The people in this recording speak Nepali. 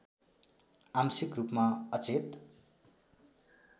आंशिक रूपमा अचेत